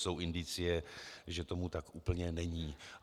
Jsou indicie, že tomu tak úplně není.